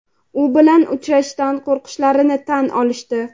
u bilan uchrashishdan qo‘rqishlarini tan olishdi.